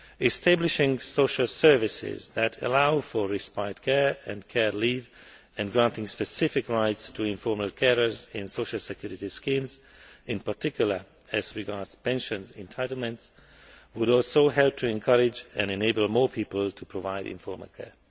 Establishing social services that allow for respite care and care leave, and granting specific rights to informal carers in social security schemes, in particular, as regards pension entitlement, would also help to encourage and enable more people to provide informal care.